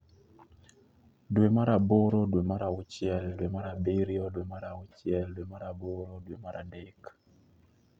dwe mar aboro dwe mar auchiel dwe mar abiriyo dwe mar auchiel dwe mar aboro dwe mar adek